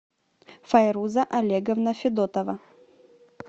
файруза олеговна федотова